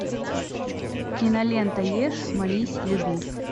кинолента ешь молись люби